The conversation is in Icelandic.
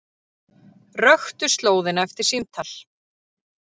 Röktu slóðina eftir símtal